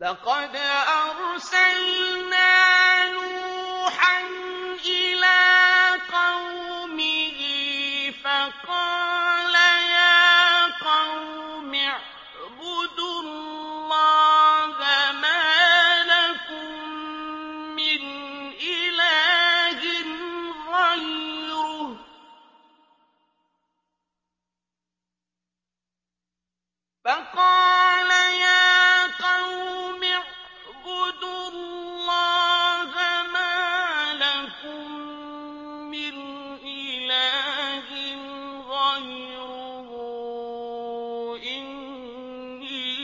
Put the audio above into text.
لَقَدْ أَرْسَلْنَا نُوحًا إِلَىٰ قَوْمِهِ فَقَالَ يَا قَوْمِ اعْبُدُوا اللَّهَ مَا لَكُم مِّنْ إِلَٰهٍ غَيْرُهُ إِنِّي